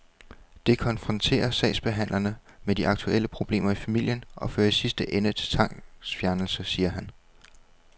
Det konfronterer sagsbehandlerne med de aktuelle problemer i familien og fører i sidste ende til tvangsfjernelse, siger han.